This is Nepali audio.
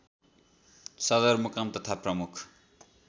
सदरमुकाम तथा प्रमुख